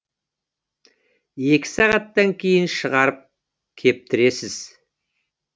екі сағаттан кейін шығарып кептіресіз